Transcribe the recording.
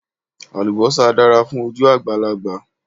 Àlùbósà dára fún ojú àgbàlagbà